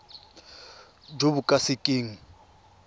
jo bo ka se keng